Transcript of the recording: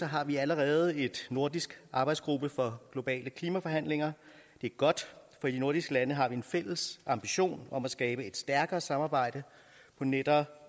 har vi allerede en nordisk arbejdsgruppe for globale klimaforhandlinger det er godt for i de nordiske lande har vi en fælles ambition om at skabe et stærkere samarbejde på netop